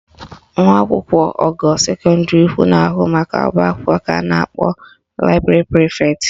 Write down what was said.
Nwa akwụkwọ ogo sekọndịrị ukwu na-ahụ maka ọbaakwụkwọ ka a na-akpọ library prefect